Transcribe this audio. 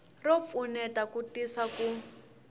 ro pfuneta ku tisa ku